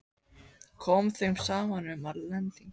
Kom þeim saman um, að lending